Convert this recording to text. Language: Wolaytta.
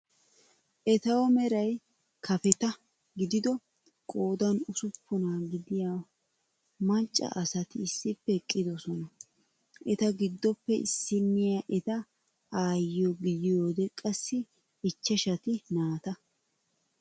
Etaw meray kafetta gidido qoodan ussuppuna gidiya macca asati issippe eqqidoosona. Eta giddoppe issiniya eta aayyiyo gidiyoode qassi ichchashati naata.